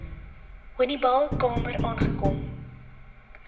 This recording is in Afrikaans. honiball kamer aangekom